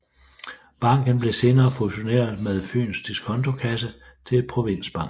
Banken blev senere fusioneret med Fyens Disconto Kasse til Provinsbanken